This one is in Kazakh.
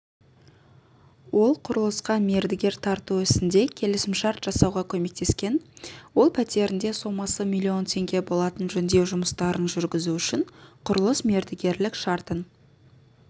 ол құрылысқа мердігер тарту ісінде келісімшарт жасауға көмектескен ол пәтерінде сомасы миллион теңге болатын жөндеу жұмыстарын жүргізу үшін құрылыс мердігерлік шартын